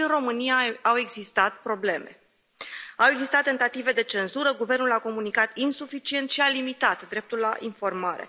Și în România au existat probleme, au existat tentative de cenzură, guvernul a comunicat insuficient și a limitat dreptul la informare.